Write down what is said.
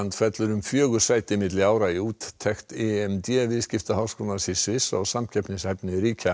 fellur um fjögur sæti milli ára í úttekt viðskiptaháskólans í Sviss á samkeppnishæfni ríkja